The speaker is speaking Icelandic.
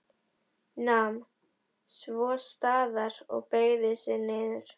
Nam svo staðar og beygði sig niður.